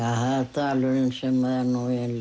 dalurinn sem er